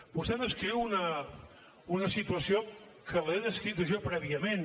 vostè descriu una situació que l’he descrita jo prèviament